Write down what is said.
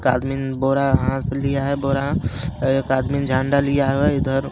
एक आदमीन बोरा हाथ लिया है बोरा और एक आदमीन झंडा लिया है इधर--